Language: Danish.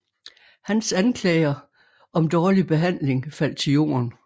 Hans anklager om dårlig behandling faldt til jorden